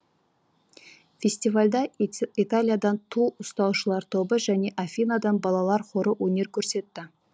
фестивальда италиядан ту ұстаушылар тобы және африкадан балалар хоры өнер көрсетті